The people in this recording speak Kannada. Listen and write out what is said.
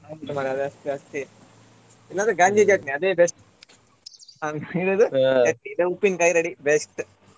ಹೌದು ಮಾರ್ರೆ ಇಲ್ಲ ಅಂದ್ರೆ ಗಂಜಿ ಚಟ್ನಿ ಅದೇ best ಉಪ್ಪಿನ್ಕಾಯಿ ready best .